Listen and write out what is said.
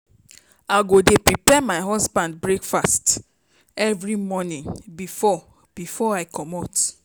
I go dey prepare my husband breakfast every morning before before I comot.